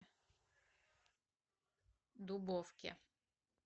дубовке